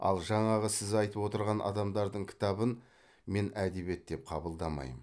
ал жаңағы сіз айтып отырған адамдардың кітабын мен әдебиет деп қабылдамаймын